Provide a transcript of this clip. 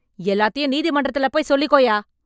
எல்லாத்தையும் நீதிமன்றத்துல போய் சொல்லிக்கோய்யா.